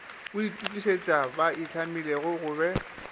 itokišitše ba itlhamile go be